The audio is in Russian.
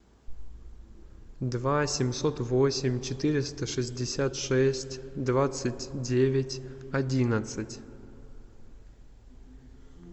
два семьсот восемь четыреста шестьдесят шесть двадцать девять одиннадцать